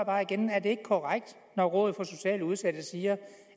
bare igen er det ikke korrekt når rådet for socialt udsatte siger